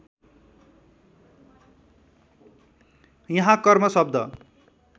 यहाँ कर्म शब्द